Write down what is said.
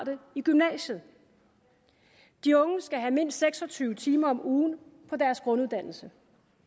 i gymnasiet de unge skal have mindst seks og tyve timer om ugen på deres grunduddannelse